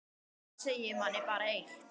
Það segir manni bara eitt.